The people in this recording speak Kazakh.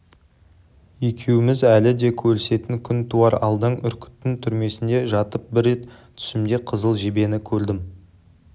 екеуміз әлі де көрісетін күн туар алдан үркіттің түрмесінде жатып бір рет түсімде қызыл жебені көрдім